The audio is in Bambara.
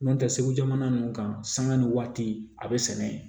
N'o tɛ segu jamana ninnu kan sanga ni waati a be sɛnɛ yen